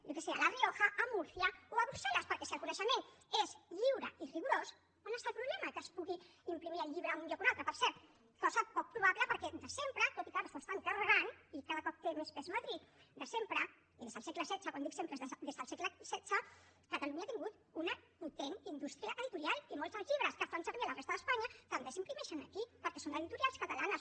jo què sé a la rioja a múrcia o a brussel·les perquè si el coneixement és lliure i rigorós on està el problema que es pugui imprimir el llibre en un lloc o un altre per cert cosa poc probable perquè de sempre tot i que ara s’ho estan carregant i cada cop té més pes madrid de sempre i des del segle xvi quan dic sempre és des del segle xvi catalunya ha tingut una potent indústria editorial i molts dels llibres que es fan servir a la resta d’espanya també s’imprimeixen aquí perquè són d’editorials catalanes